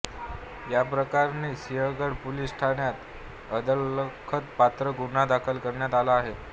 याप्रकरणी सिंहगड पोलिस ठाण्यात अदखलपात्र गुन्हा दाखल करण्यात आला आहे